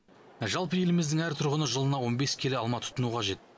жалпы еліміздің әр тұрғыны жылына он бес келі алма тұтыну қажет